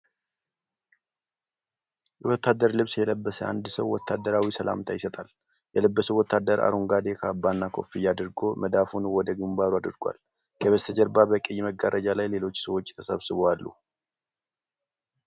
የወታደር ልብስ የለበሰ አንድ ሰው ወታደራዊ ሰላምታ ይሰጣል። የለበሰው ወታደር አረንጓዴ ካባና ኮፍያ አድርጎ መዳፉን ወደ ግንባሩ አድርጓል። ከበስተጀርባ በቀይ መጋረጃ ላይ ሌሎች ሰዎች ተሰብስበው አሉ።